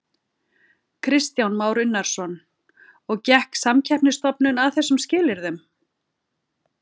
Kristján Már Unnarsson: Og gekk Samkeppnisstofnun að þessum skilyrðum?